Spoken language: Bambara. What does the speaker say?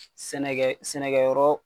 Sɛnɛkɛ sɛnɛkɛyɔrɔ